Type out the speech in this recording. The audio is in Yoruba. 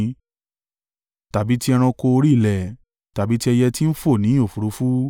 tàbí ti ẹranko orí ilẹ̀, tàbí ti ẹyẹ tí ń fò ní òfúrufú,